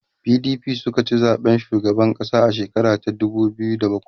PDP sukaci zaɓen shugaban ƙasa a shekara ta dubu biyu da bakwai